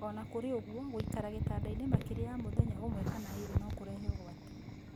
Ona kũrĩ ũguo, gũikara gĩtandainĩ makĩria ya mũthenya ũmwe kana ĩrĩ no kũrehe ũgwati.